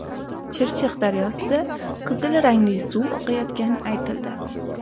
Chirchiq daryosida qizil rangli suv oqayotgani aytildi.